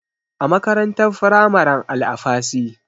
A makarantar firamaren Alafasy.